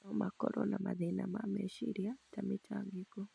no makorũo na mathĩna ma meciria ta mĩtangĩko.